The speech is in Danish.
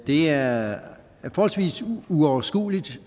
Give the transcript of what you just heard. det er forholdsvis uoverskueligt